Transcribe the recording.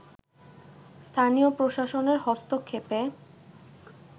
স্থানীয় প্রশাসনের হস্তক্ষেপে